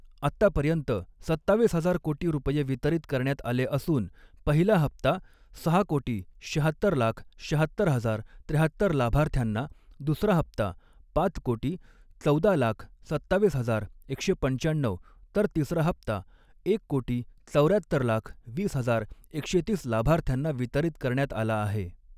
आतापर्यंत सत्तावीस हजार कोटी रुपये वितरीत करण्यात़ आले असून, पहिला हप्ता सहा कोटी, श्याहत्तर लाख, श्याहत्तर हजार, त्र्याहत्तर लाभार्थ्यांना, दुसरा हप्ता पाच कोटी, चौदा लाख, सत्तावीस हजार, एकशे पंचाण्णऊ, तर तिसरा हप्ता एक कोटी चौऱ्यात्तर लाख वीस हजार एकशे तीस लाभार्थ्यांना वितरीत करण्यात आला आहे.